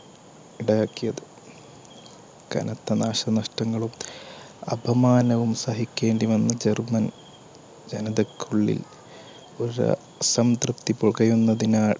ഉണ്ടാക്കിയത്. കനത്ത നാശനഷ്ടങ്ങളും അപമാനവും സഹിക്കേണ്ടിവന്നു ജർമ്മനി ജനതക്കുള്ളിൽ